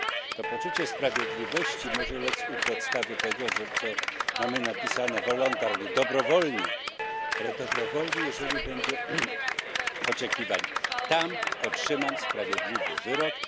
To poczucie sprawiedliwości może lec u podstawy tego, że co mamy napisane voluntary dobrowolnie, ale dobrowolnie, jeżeli będzie oczekiwanie tam otrzymam sprawiedliwy wyrok.